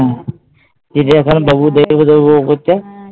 হ্যাঁ, চিড়িয়াখানা বাবু দেখব দেখব করছে